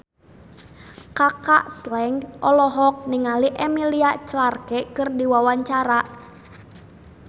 Kaka Slank olohok ningali Emilia Clarke keur diwawancara